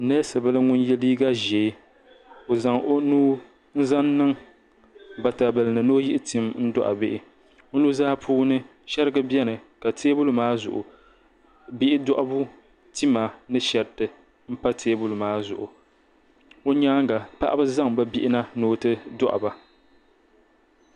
Neesi bila ŋun ye liiga ʒee o zaŋ o nuu n zaŋ niŋ batabila ni ni o yihi tim n dohi bihi o nuzaa puuni sheriga biɛni ka.teebuli maa zuɣu